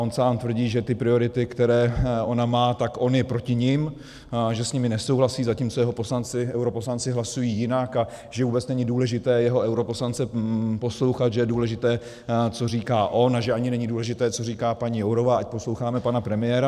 On sám tvrdí, že ty priority, které ona má, tak on je proti nim, že s nimi nesouhlasí, zatímco jeho poslanci, europoslanci, hlasují jinak, a že vůbec není důležité jeho europoslance poslouchat, že je důležité, co říká on, a že ani není důležité, co říká paní Jourová, ať posloucháme pana premiéra.